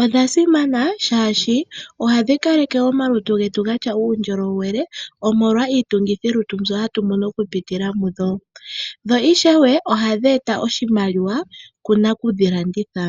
odha simana shaashi ohadhi kaleke omalutu getu gatya uundjolowele, omolwa iitungithi yolutu mbyoka hatu mono okupitila mudho, dho ishewe ohadhi eta oshimaliwa kunaku dhilanditha.